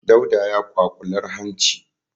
Dauda ya kwaƙular hanci.